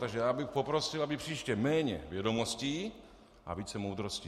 Takže já bych poprosil, aby příště méně vědomostí a více moudrosti.